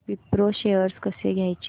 Wipro shares कसे घ्यायचे